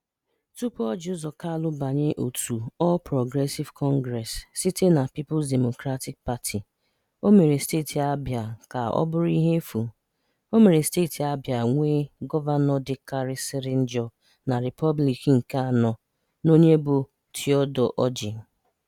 Tupu Orji Uzor Kalu banye otu All Progressive Congress site na Peoples Democratic Party, ọ mere Steeti Abịa ka ọ bụrụ ihe efu. Ọ mere Steeti Abịa nwee gọvanọ dịkarịsịrị njọ na Republik nke anọ n'onye bụ Theodore Orji.